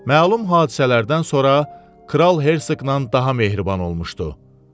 Məlum hadisələrdən sonra Kral Herseqin daha mehriban olmuşdu.